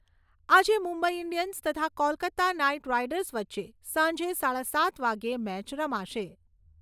આજે મુંબઈ ઈન્ડિયન્સ તથા Kolkata Knight Riders વચ્ચે સાંજે સાડા સાત વાગ્યે મેચ રમાશે.